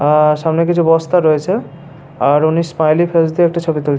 আ সামনে কিছু বস্তা রয়েছে আর উনি স্মাইলি ফেস দিয়ে একটি ছবি তুল--